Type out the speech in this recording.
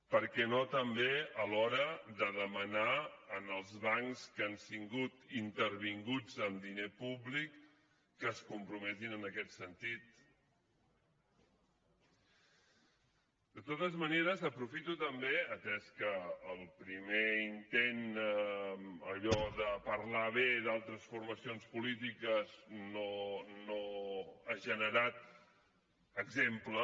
per què no també a l’hora de demanar als bancs que han sigut intervinguts amb diner públic que es comprometin en aquest sentit de totes maneres aprofito també atès que el primer intent allò de parlar bé d’altres formacions polítiques no ha generat exemple